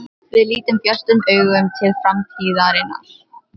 Við lítum björtum augum til framtíðarinnar.